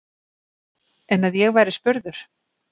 En að ég væri spurður?